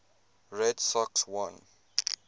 red sox won